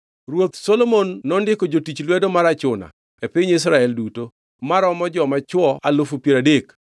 Ruoth Solomon nondiko jotich lwedo mar achuna e piny Israel duto maromo joma chwo alufu piero adek (30,000).